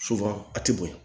a tɛ bonya